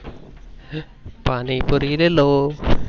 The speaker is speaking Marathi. पाणी पुरी लेलो.